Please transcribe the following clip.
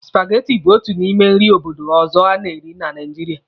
Supageti bụ otu n'ime nri obodo ọzọ a na-eri na Naijiria.